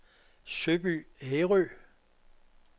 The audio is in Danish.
Søby Ærø